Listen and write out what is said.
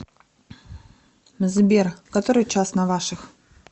сбер который час на ваших